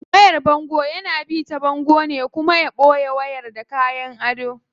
Wayar bango yana bi ta bango ne kuna ana ita boye wayar da kayan ado.